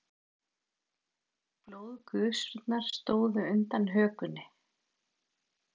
Blóðgusurnar stóðu undan hökunni.